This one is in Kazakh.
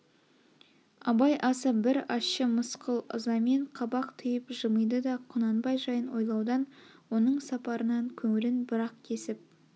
абай аса бір ащы мысқыл ызамен қабақ түйіп жымиды да құнанбай жайын ойлаудан оның сапарынан көңілін бір-ақ кесіп